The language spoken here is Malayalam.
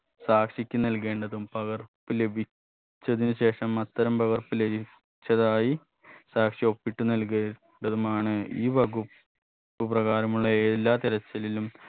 സാക്ഷിക്ക് നൽകേണ്ടതും പകർപ്പ് ലഭിച്ചതിന് ശേഷം അത്തരം പകർപ്പ് ലഭിച്ചതായി സാക്ഷി ഒപ്പിട്ടു നൽകേ ണ്ടതുമാണ് ഈ വകുപ് പ്പു പ്രകാരമുള്ള എല്ലാ തിരച്ചിലിലും